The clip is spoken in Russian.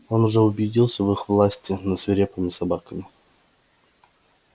он уже убедился в их власти над свирепыми собаками